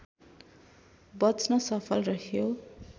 बच्न सफल रह्यो